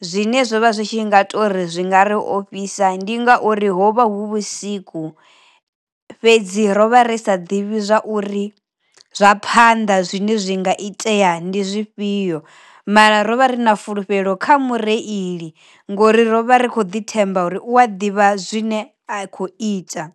zwine zwo vha zwi tshi nga tori zwi nga ri ofhisa ndi nga uri hovha hu vhusiku fhedzi rovha ri sa ḓivhi zwauri zwa phanḓa zwine zwi nga itea ndi zwifhio mara ro vha ri na fulufhelo kha mureili ngori rovha rikho ḓi themba uri u a ḓivha zwine a khou ita.